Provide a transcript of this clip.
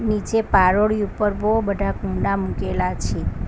નીચે પારોડી ઉપર બહુ બધા કૂંડા મુકેલા છે.